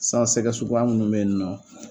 San sɛgɛ suguya munnu bɛ yen nɔ